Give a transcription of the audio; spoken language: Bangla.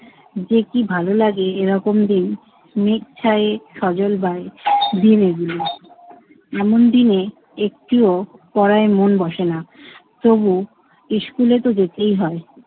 যে কি ভালো লাগে এরকম দিন মেঘ ছায়ে সজল বায়ে দিনগুলো এমন দিনে একটুও পড়ায় মন বসে না। তবুও ইস্কুলেতো যেতেই হয়।